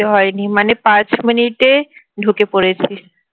হয়নি মানে পাঁচ মিনিট এ ঢুকে পড়েছি